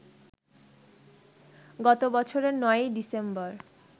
গত বছরের ৯ই ডিসেম্বর